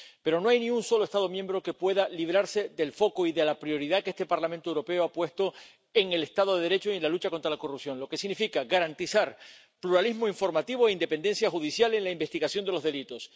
Pero no hay ni un solo Estado miembro que pueda librarse del foco y de la prioridad que este Parlamento Europeo ha puesto en el Estado de Derecho y en la lucha contra la corrupción, lo que significa garantizar pluralismo informativo e independencia judicial en la investigación de los delitos.